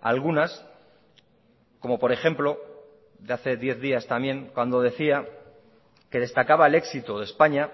algunas como por ejemplo de hace diez días también cuando decía que destacaba el éxito de españa